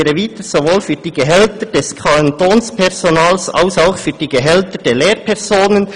«Dies gilt sowohl für die Gehälter des Kantonspersonals als auch für die Gehälter der Lehrpersonen.